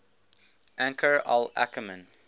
anchor al ackerman